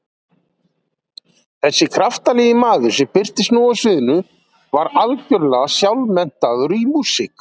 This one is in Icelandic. Þessi kraftalegi maður sem birtist nú á sviðinu var algjörlega sjálfmenntaður í músík.